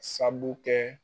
kɛ.